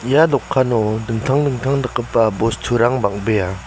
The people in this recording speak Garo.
ia dokano dingtang dingtang dakgipa bosturang bang·bea.